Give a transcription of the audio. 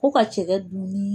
Ko ka cɛkɛ dun ni